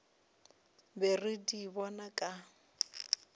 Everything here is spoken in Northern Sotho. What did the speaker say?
be re di bona ka